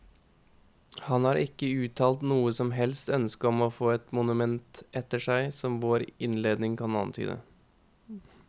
Han har ikke uttalt noe som helst ønske om å få et monument etter seg som vår innledning kan antyde.